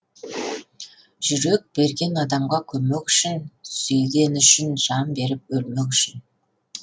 жүрек берген адамға көмек үшін сүйгені үшін жан беріп өлмек үшін